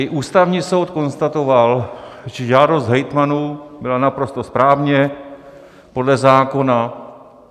I Ústavní soud konstatoval, že žádost hejtmanů byla naprosto správně podle zákona.